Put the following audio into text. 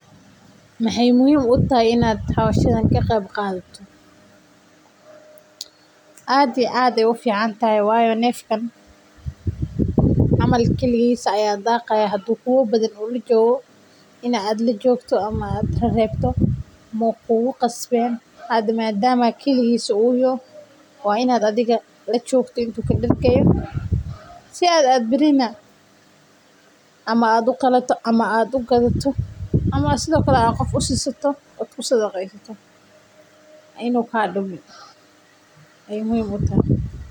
Maxeey muhiim utahay inaan ka qeeb qaato waxa yeelay neefkan kaligiis ayaa daqaya waxa yeele waa inaad lajogto si aad u ilaliso si aad barito uqalato.